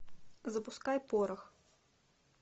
запускай порох